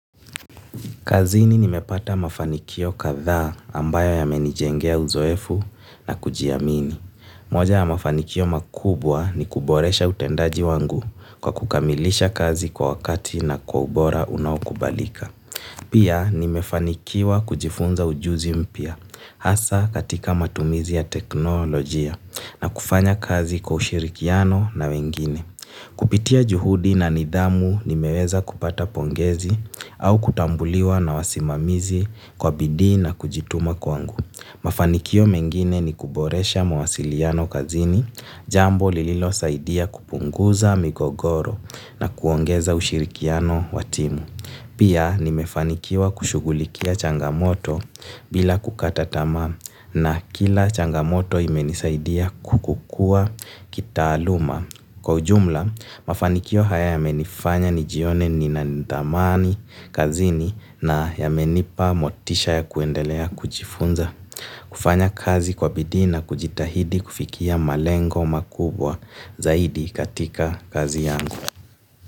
Kazini nimepata mafanikio kadhaa ambayo yamenijengea uzoefu na kujiamini. Moja ya mafanikio makubwa ni kuboresha utendaji wangu kwa kukamilisha kazi kwa wakati na kwa ubora unaokubalika. Pia nimefanikiwa kujifunza ujuzi mpya hasa katika matumizi ya teknolojia na kufanya kazi kwa ushirikiano na wengine. Kupitia juhudi na nidhamu nimeweza kupata pongezi au kutambuliwa na wasimamizi kwa bidii na kujituma kwangu. Mafanikio mengine ni kuboresha mawasiliano kazini, jambo lililosaidia kupunguza migogoro na kuongeza ushirikiano wa timu. Pia nimefanikiwa kushughulikia changamoto bila kukata tamaa na kila changamoto imenisaidia kukua kitaaluma. Kwa ujumla, mafanikio haya yamenifanya nijione nina thamani kazini na yamenipa motisha ya kuendelea kujifunza, kufanya kazi kwa bidii na kujitahidi kufikia malengo makubwa zaidi katika kazi yangu.